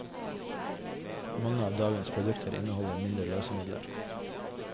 Mange av dagens produkter inneholder mindre løsemidler.